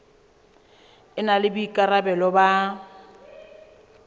e na le boikarabelo ba